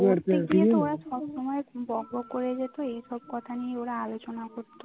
ওরা সব সময় বকবক করে যেত এই সব কথা নিয়ে ওরা আলোচনা করতো